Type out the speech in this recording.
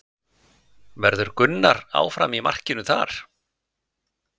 Verður Gunnar áfram í markinu þar?